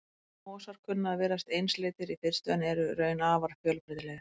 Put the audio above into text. Mosar kunna að virðast einsleitir í fyrstu en eru í raun afar fjölbreytilegir.